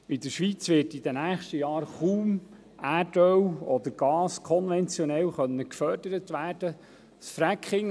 In den nächsten Jahren werden in der Schweiz kaum Erdgas oder Erdöl konventionell gefördert werden können.